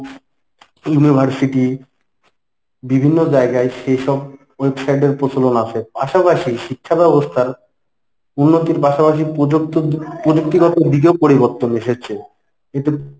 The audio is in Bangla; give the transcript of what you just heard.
university বিভিন্ন জায়গায় সেসব website এর প্রচলন আছে পাশাপাশি শিক্ষাব্যবস্থার উন্নতির পাশাপাশি প্রযৃুক্ত প্রযুক্তিগত দিকেও পরিবর্তন এসেছে এতে